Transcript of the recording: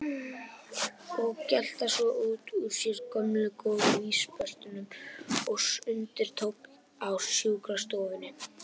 Og gelta svo út úr sér gömlu góðu vísupörtunum svo undir tók á sjúkrastofunni.